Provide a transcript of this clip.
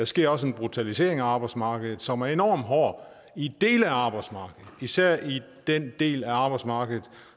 sker også en brutalisering af arbejdsmarkedet som er enormt hård i dele af arbejdsmarkedet især i den del af arbejdsmarkedet